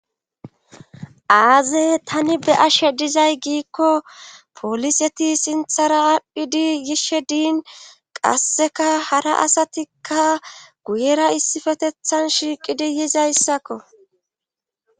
Aaze tani be ashe dizay giikko poliseti sinthara aaphphidi yishe diin qasseka hara asatikka guyera issifetethan shiiqidi yizayssakko